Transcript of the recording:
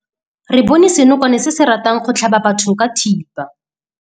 Re bone senokwane se se ratang go tlhaba batho ka thipa.